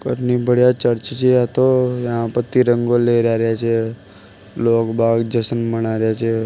इतनी बड़िया चर्च छे आ तो यहाँ पे तिरंगो लहरा रहे छे लोग बाहर जशन मना रहे छे।